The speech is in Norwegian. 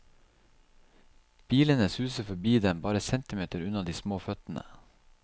Bilene suser forbi dem bare centimeter unna de små føttene.